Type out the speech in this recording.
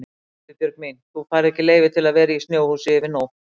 Nei Guðbjörg mín, þú færð ekki leyfi til að vera í snjóhúsi yfir nótt